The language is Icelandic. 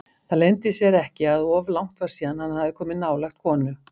Það leyndi sér ekki að of langt var síðan hann hafði komið nálægt konu.